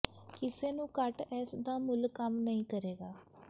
ਕਿਸੇ ਨੂੰ ਘੱਟ ਇਸ ਦਾ ਮੁੱਲ ਕੰਮ ਨਹੀ ਕਰੇਗਾ